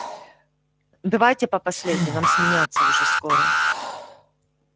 давайте по последней нам сменяться уже скоро